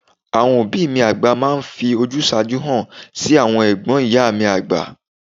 Àwọn òbí mi àgbà máa ń fi ojúsàájú hàn sí àwọn ẹ̀gbọ́n ìyá mi àgbà..